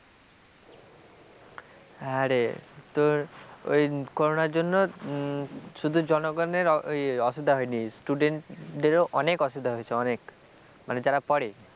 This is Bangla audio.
হ্যাঁরে তোর ওই করনার জন্য শুধু জনগণের অসুবিধা হয়নি student দেরও অনেক অসুবিধা হয়েছে অনেক মানে যারা পড়ে,